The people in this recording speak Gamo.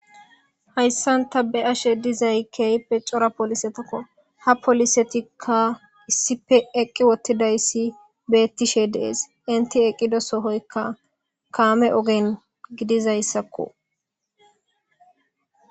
Hayssanta be ashe dizay kehpe cora polisetakko ha polisetikka issife eqqi wottidayssi beettishe dees inti eqqido sohoykka kaame ogen gidizayssakko.